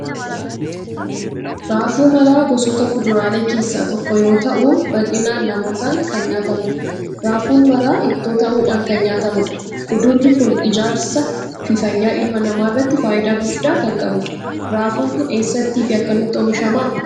Raafuu maraa gosoota kuduraalee keessaa tokko yoo ta'u bal'inaan namootaan kan nyaatamudha. Raafuun maraa ittoo ta'uudhaan kan nyaatamudha. Kudurri kun ijaarsaa fi fayyaa ilma namaarratti faayidaa guddaa kan qabudha. Raafuun kun eessaatti fi akkamitti oomishama?